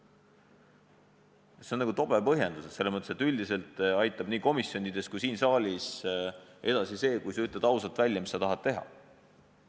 See on selles mõttes tobe põhjendus, et üldiselt aitab nii komisjonides kui siin saalis edasi see, kui on ausalt välja öeldud, mida tahetakse teha.